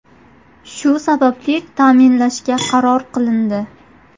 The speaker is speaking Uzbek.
Shu sababli ta’minlashga qaror qilindi.